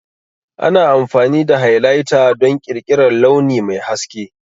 Ana amfani da Highlighter don ƙirƙirar launi mai haske.